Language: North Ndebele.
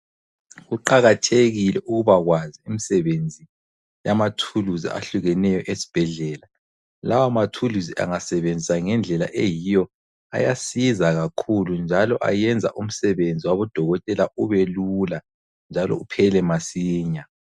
Kuqakathekile ukuba kwazi umsebenzi yamathuluzi ahlukeneyo esibhedlela. Lawa mathuluzi angasebenziswa ngendlela eyiyo ayasiza kakhulu njalo ayenza umsebenzi wabodokotela ubelula njalo uphele masinya.